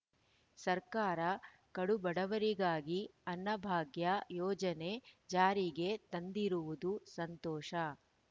ಸರ್ಕಾರ ಕಡುಬಡವರಿಗಾಗಿ ಅನ್ನಭಾಗ್ಯ ಯೋಜನೆ ಜಾರಿಗೆ ತಂದಿರುವುದು ಸಂತೋಷ